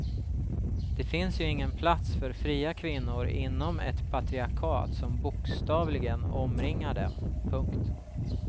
Det finns ju ingen plats för fria kvinnor inom ett patriarkat som bokstavligen omringar dem. punkt